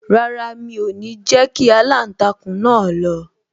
Rárá, mi o ni jẹ kí aláǹtakùn náà lọ